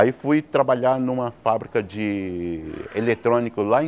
Aí fui trabalhar numa fábrica de eletrônico lá em...